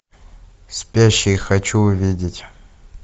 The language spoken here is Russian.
спящие хочу увидеть